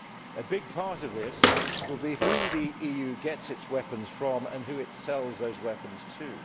A big part of this will be who the EU gets its weapons from and who it sells those weapons to.